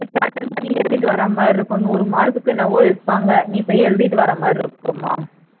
attend பண்ணி எழுதிட்டு வரமாதிரி இருக்கும் நூறு mark க்கு என்னவோ எடுப்பாங்க நீ போய் எழுதிட்டு வர்றமாதிரி இருக்கும்மா